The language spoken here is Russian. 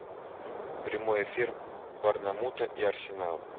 прямой эфир борнмут и арсенал